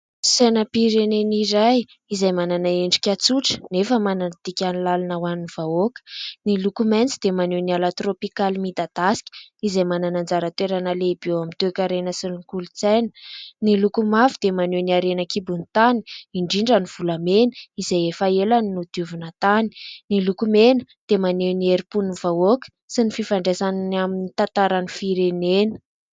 Sainam-pirenena iray izay manana endrika tsotra nefa manana dikany lalina ho an'ny vahoaka. Ny loko maintso dia maneho ny ala tropikaly midadaska izay manana anjara toerana lehibe eo amin'ny toekarena sy ny kolontaina ; ny loko mavo dia maneho ny harena an-kibon'ny tany, indrindra ny volamena izay efa ela no nodiovina tany, ny loko mena dia maneho ny herim-pon'ny vahoaka sy ny fifandraisany amin'ny tantaran'ny firenena.